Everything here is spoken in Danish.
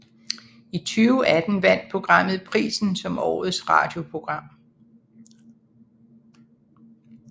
I 2018 vandt programmet prisen som årets radioprogram